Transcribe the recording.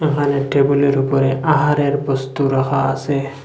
এখানে টেবিলের উপরে আহারের বস্তু রাখা আসে ।